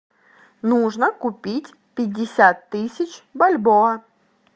нужно купить пятьдесят тысяч бальбоа